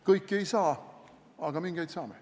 Kõiki ei saa, aga mingeid saame.